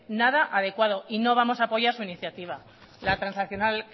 nada adecuado no vamos a apoyar su iniciativa la transaccional